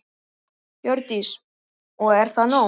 Hjördís: Og er það nóg?